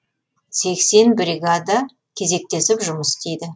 сексен бригада кезектесіп жұмыс істейді